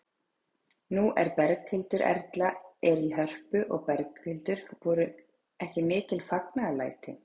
Nú Berghildur Erla er í Hörpu og Berghildur, voru ekki mikil fagnaðarlæti?